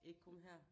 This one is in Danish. Ikke kun her